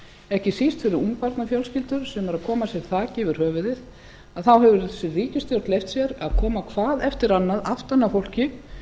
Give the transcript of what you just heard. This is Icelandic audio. ekki síst fyrir ungbarnafjölskyldur sem eru að koma sér þaki yfir höfuðið að þá hefur þessi ríkisstjórn leyft sér að koma hvað eftir annað aftan að fólki